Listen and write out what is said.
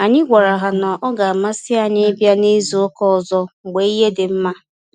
Anyị gwara ha na-ọ ga amasị anyị ịbịa na izu ụka ọzọ mgbe ihe dị nma